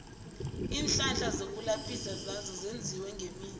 iinhlahla zokulaphisa nazo zenziwe ngemithi